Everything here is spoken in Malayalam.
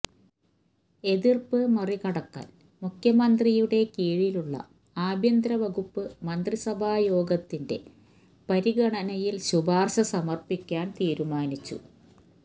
എതിർപ്പ് മറികടക്കാൻ മുഖ്യമന്ത്രിയുടെ കീഴിലുള്ള ആഭ്യന്തരവകുപ്പ് മന്ത്രിസഭായോഗത്തിൻറെ പരിഗണനയിൽ ശുപാർശ സമപ്പിക്കാൻ തീരുമാനിച്ചു